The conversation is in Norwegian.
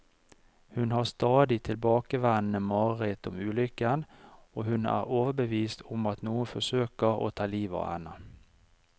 Hun har stadig tilbakevendende mareritt om ulykken, og hun er overbevist om at noen forsøker å ta livet av henne.